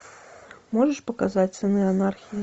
можешь показать сыны анархии